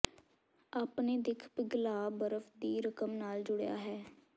ਆਪਣੇ ਦਿੱਖ ਪਿਘਲਾ ਬਰਫ ਦੀ ਰਕਮ ਨਾਲ ਜੁੜਿਆ ਹੈ